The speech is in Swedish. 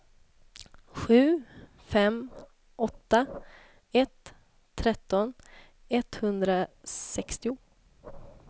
sju fem åtta ett tretton etthundrasextio